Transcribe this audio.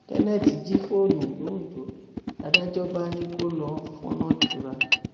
kenneth jí fóònù londo làdájọ bá ní kó lọọ fọnọn jura